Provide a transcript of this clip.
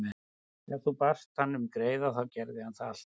Ef þú baðst hann um greiða þá gerði hann það alltaf.